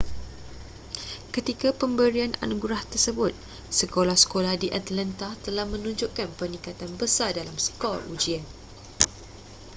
ketika pemberian anugerah tersebut sekolah-sekolah di atlanta telah menunjukkan peningkatan besar dalam skor ujian